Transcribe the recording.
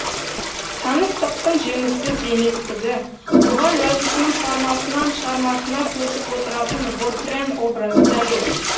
таныстықтың жеміссіз еместігі оған жазушының шығармасынан шығармасына көшіп отыратын вотрен образы дәлел